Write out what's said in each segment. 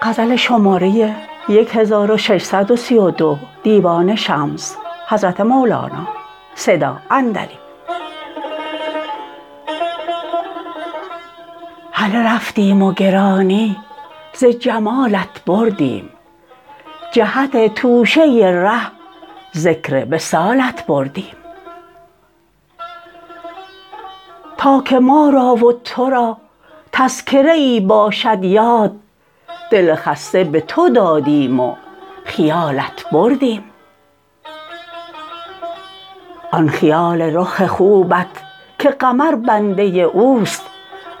هله رفتیم و گرانی ز جمالت بردیم جهت توشه ره ذکر وصالت بردیم تا که ما را و تو را تذکره ای باشد یاد دل خسته به تو دادیم و خیالت بردیم آن خیال رخ خوبت که قمر بنده اوست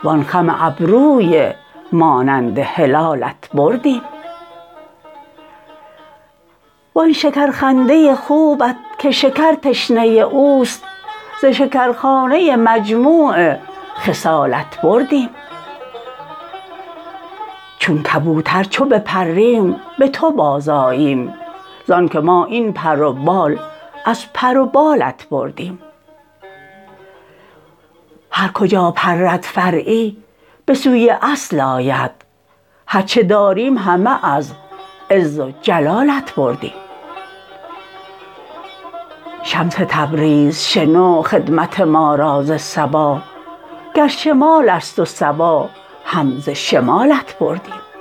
وان خم ابروی مانند هلالت بردیم وان شکرخنده خوبت که شکر تشنه اوست ز شکرخانه مجموع خصالت بردیم چون کبوتر چو بپریم به تو بازآییم زانک ما این پر و بال از پر و بالت بردیم هر کجا پرد فرعی به سوی اصل آید هر چه داریم همه از عز و جلالت بردیم شمس تبریز شنو خدمت ما را ز صبا گر شمال است و صبا هم ز شمالت بردیم